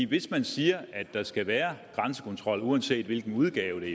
hvis man siger at der skal være grænsekontrol uanset i hvilken udgave